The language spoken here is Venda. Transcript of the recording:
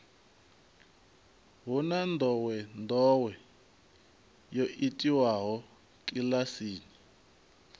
hu na ndowendowe yo itiwaho kilasini